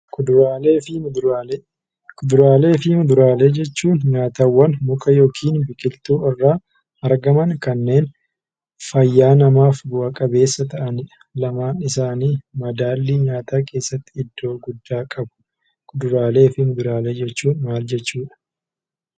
Kuduraalee fi muduraalee Kuduraalee fi muduraalee jechuun nyaataawwan muka yookiin biqiltuu irraa argaman kanneen fayyaa namaaf bu'a qabeessa ta'anidha. Lamaan isaanii madaallii nyaataa keessatti iddoo guddaa qabu. Kuduraalee fi muduraalee jechuun maal jechuudha ?